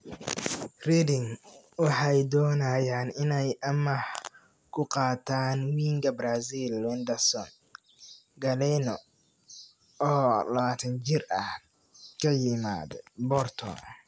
(Huddersfield Examiner) Reading waxay doonayaan inay amaah ku qaataan winga Brazil Wenderson Galeno, oo 21 jir ah, ka yimaada Porto.